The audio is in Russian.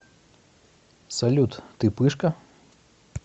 салют ты пышка